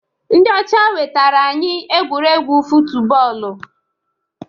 Ndị ọcha wetara anyị egwuregwu futubọọlụ.